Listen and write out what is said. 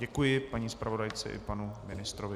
Děkuji paní zpravodajce i panu ministrovi.